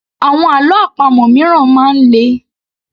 Àwọn àlọ́ àpamọ̀ míràn máa ń le